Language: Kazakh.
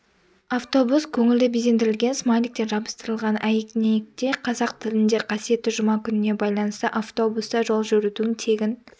автобус көңілді безендірілген смайликтер жабыстырылған әйнекте қазақ тілінде қасиетті жұма күніне байланысты автобуста жол жүрудің тегін